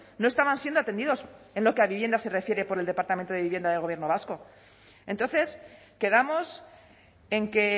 no estaban siendo atendidos en lo que a vivienda se refiere por el departamento de vivienda del gobierno vasco entonces quedamos en que